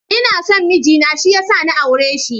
Ina son miji na shi ya sa na aure shi.